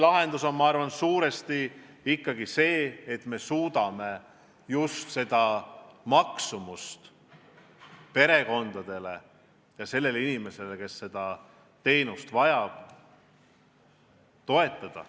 Lahendus on, ma arvan, suurel määral ikkagi see, et me suudame neid perekondi ja neid üksikinimesi, kes neid teenuseid vajavad, toetada.